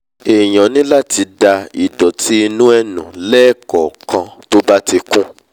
èèyàn ní láti da ìdọ̀tí inú ẹ̀ nù lẹ́ẹ̀kọ̀ọ̀kan tó bá ti kún